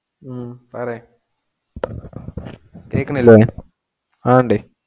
ഹും പറയ്‌ കേൾക്കണില്ലേ, ആരടെ